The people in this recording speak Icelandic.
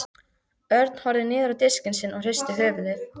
Örn horfði niður á diskinn sinn og hristi höfuðið.